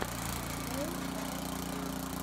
фэл аут бой